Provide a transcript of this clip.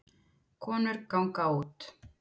Konur ganga út